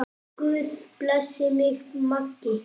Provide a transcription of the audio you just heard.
Guð blessi þig, Maggi.